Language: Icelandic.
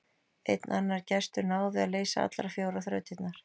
Einn annar gestur náði að leysa allar fjórar þrautirnar.